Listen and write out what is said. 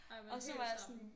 Ej men helt samme